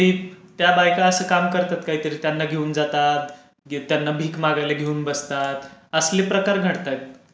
त्या बायका अशी कामं करतात काहीतरी, त्यांना घेऊन जातात, त्यांना भीक मागायला घेऊन बसतात, असले प्रकार घडतायत.